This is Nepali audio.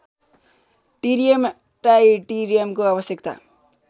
टिरियम ट्राइटिरियमको आवश्यकता